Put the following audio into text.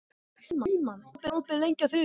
Frímann, hvað er opið lengi á þriðjudaginn?